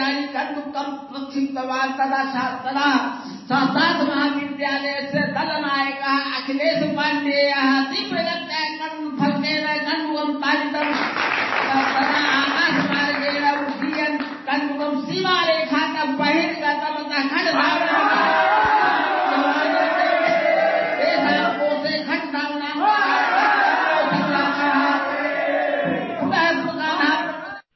ক্রিকেটের ধারাভাষ্যের sound clip copy করার প্রয়োজন নেই